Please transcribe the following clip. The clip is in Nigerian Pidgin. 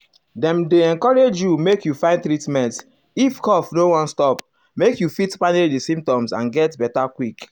dem dey encourage you make you find treatment if cough no wan stop make you fit manage di symptoms and get beta quick.